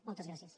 moltes gràcies